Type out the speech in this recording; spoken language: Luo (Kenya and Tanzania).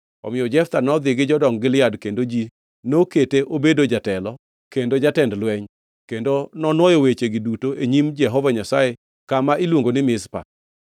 Omiyo Jeftha nodhi gi jodong Gilead, kendo ji nokete obedo jatelo kendo jatend lweny. Kendo nonwoyo wechegi duto e nyim Jehova Nyasaye kama iluongo ni Mizpa.